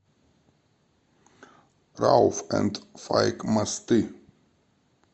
рауф энд файк мосты